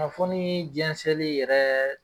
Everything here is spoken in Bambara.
Kunnafoni jɛnsɛli yɛrɛ